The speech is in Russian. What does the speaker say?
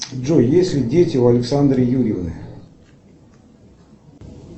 джой есть ли дети у александры юрьевны